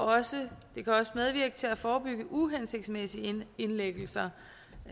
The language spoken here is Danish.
også medvirke til at forebygge uhensigtsmæssige indlæggelser